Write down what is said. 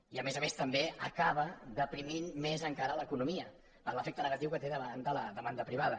i a més a més també acaba deprimint més encara l’economia per l’efecte negatiu que té davant de la demanda privada